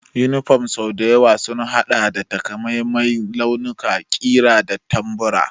Yunifom sau da yawa sun haɗa da takamaiman launuka, ƙira da tambura.